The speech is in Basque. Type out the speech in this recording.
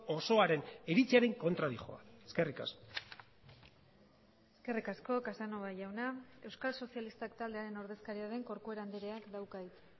osoaren iritziaren kontra dihoa eskerrik asko eskerrik asko casanova jauna euskal sozialistak taldearen ordezkaria den corcuera andreak dauka hitza